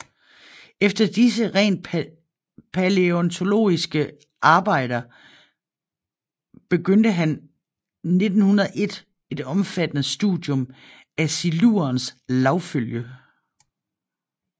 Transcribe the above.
Efter disse rent palæontologiske arbejder begyndte han 1901 et omfattende studium af silurens lagfølge